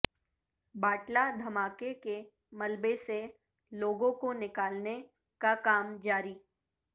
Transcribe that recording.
باٹلہ دھماکہ کے ملبے سے لوگوں کو نکالنے کا کام جاری